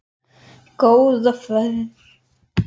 Góða ferð!